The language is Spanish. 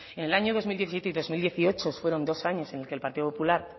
en el año dos mil diecisiete y dos mil dieciocho fueron dos años en el que el partido popular